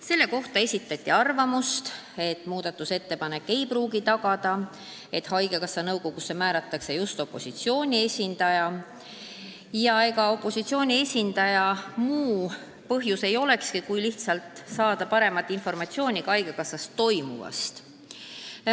Selle kohta esitati arvamus, et see ei pruugi tagada, et haigekassa nõukogusse määratakse just opositsiooni esindaja, aga ega opositsiooni esindaja muul põhjusel sinna kuuluda ei tahaks, kui lihtsalt saada paremat informatsiooni haigekassas toimuvast.